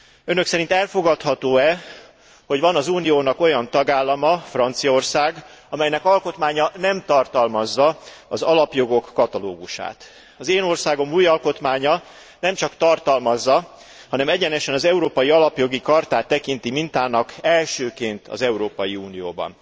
Önök szerint elfogadható e, hogy van az Uniónak olyan tagállama, Franciaország, amelynek alkotmánya nem tartalmazza az alapjogok katalógusát? Az én országom új alkotmánya nemcsak tartalmazza, hanem egyenesen az Európai Alapjogi Chartát tekinti mintának, elsőként az Európai Unióban.